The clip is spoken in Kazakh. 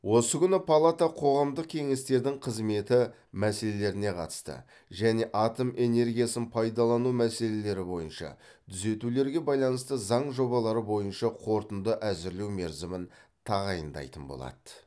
осы күні палата қоғамдық кеңестердің қызметі мәселелеріне қатысты және атом энергиясын пайдалану мәселелері бойынша түзетулерге байланысты заң жобалары бойынша қорытынды әзірлеу мерзімін тағайындайтын болады